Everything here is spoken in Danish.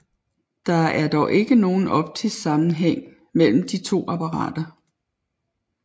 Der er dog ikke nogen optisk sammenhæng mellem de to apparater